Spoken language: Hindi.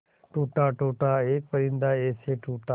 टूटा टूटा एक परिंदा ऐसे टूटा